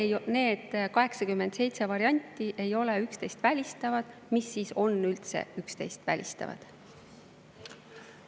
Ja kui need 87 varianti ei ole üksteist välistavad, mis siis on üldse üksteist välistavad?